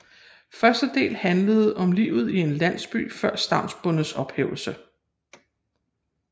Første del handler om livet i en landsby før stavnsbåndets ophævelse